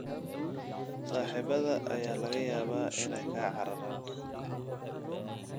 Saaxiibada ayaa laga yaabaa inay kaa cararaan